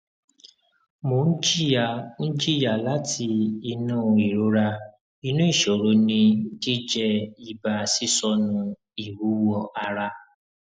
mo n jiya n jiya lati inu irora inu iṣoro ni jijẹ iba sisọnu iwuwo ara